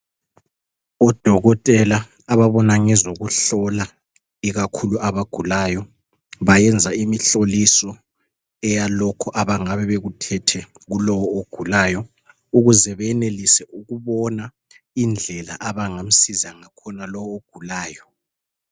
Odokotela ababona ngezokuhlola ikakhulu abagulayo bayenza imihloliso eyalokhu abangabe bekuthethe kulowu ogulayo ukuze benelise ukubona indlela abangamsiza ngakhona lowu ogulayo.